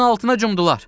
Suyun altına cumdular.